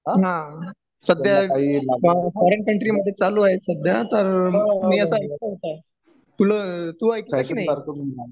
हा सध्या foreign country मधे चालू आहे सध्या तर मी असा ऐकलं तुला तू ऐकलं की नाही